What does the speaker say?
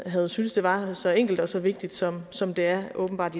havde syntes det var så enkelt og så vigtigt som som det åbenbart